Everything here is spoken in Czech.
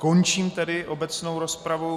Končím tedy obecnou rozpravu.